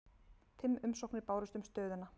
Fimm umsóknir bárust um stöðuna